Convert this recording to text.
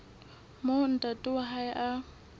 moo ntate wa hae a